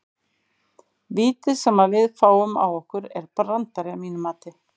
Vítið sem að við fáum á okkur er brandari að mínu mati.